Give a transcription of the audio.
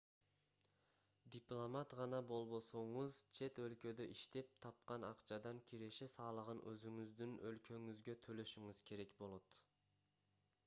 дипломат гана болбосоңуз чет өлкөдө иштеп тапкан акчадан киреше салыгын өзүңүздүн өлкөңүзгө төлөшүңүз керек болот